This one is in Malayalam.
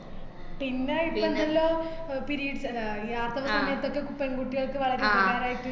പിന്നെ ഇപ്പോ എന്താലോ അഹ് periods അല്ല ഈ ആർത്തവ സമയത്തൊക്കെ പെൺകുട്ടികൾക് വളരെ ഉപകാരായിട്ട്